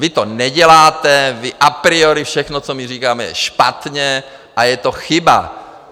Vy to neděláte, vy à priori - všechno, co my říkáme, je špatně a je to chyba.